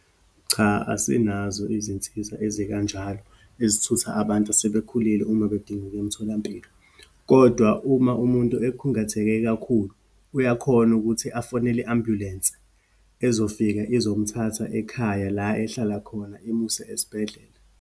Cha, asinazo izinsiza ezikanjalo, ezithutha abantu asebekhulile uma bedinga ukuya emtholampilo. Kodwa uma umuntu ekhungathekile kakhulu, uyakhona ukuthi afonele i-ambulensi ezofika izomthatha, ekhaya la ehlala khona, imuse esibhedlela.